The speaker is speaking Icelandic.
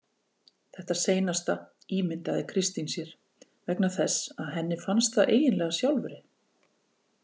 Þetta seinasta ímyndaði Kristín sér vegna þess að henni fannst það eiginlega sjálfri.